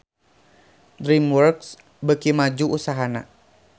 DreamWorks beuki maju usahana